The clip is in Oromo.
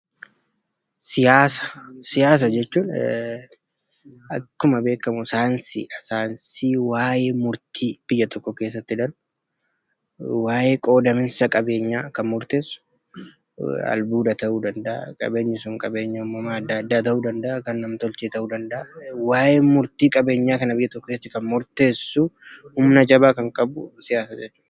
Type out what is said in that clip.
Siyaasa: Siyaasa jechuun akkuma beekamu saayinsii dha. Saayinsii waayee murtii biyya tokko keessatti darbu, waayee qoodamiinsa qabeenyaa kan murteessu, albuuda ta'uu danda'a. Qabeenyi sun qabeenya uumamaa adda addaa ta'uu danda'aa; kan nam-tolchee ta'uu danda'aa. Waayee murtii qabeenyaa kana biyya tokko keessatti kan murteessu, humna jabaa kan qabu siyaasa jechuu dha.